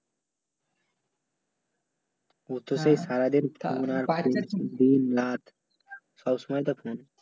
ও তো সেই সারাদিন দিন রাত সব সময় তো